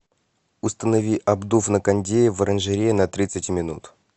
установи обдув на кондее в оранжерее на тридцать минут